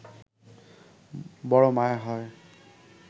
বড় মায়া হয়